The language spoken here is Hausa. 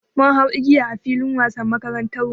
Mun hau igiya a filin wasan makarantarmu.